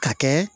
Ka kɛ